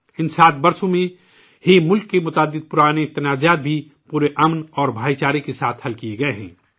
ان 7 سالوں میں ہی ملک کے متعدد قدیم تنازعے بھی مکمل امن و ہم آہنگی کے ساتھ طے کیے گئے ہیں